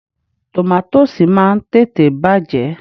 Tòmátósì máa ń tètè bàjẹ́.